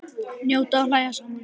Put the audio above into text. Njóta og hlæja saman.